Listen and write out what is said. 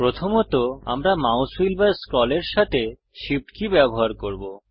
প্রথমত আমরা mouse wheel বা স্ক্রলের সাথে Shift কী ব্যবহার করব